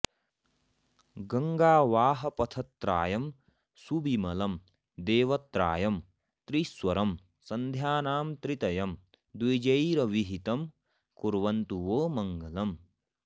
गङ्गावाहपथत्रायं सुविमलं देवत्रायं त्रिस्वरं सन्ध्यानां त्रितयं द्विजैरभिहितं कुर्वन्तु वो मङ्गलम्